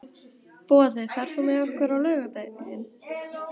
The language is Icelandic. Boði, ferð þú með okkur á laugardaginn?